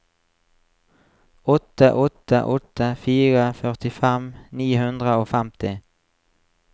åtte åtte åtte fire førtifem ni hundre og femti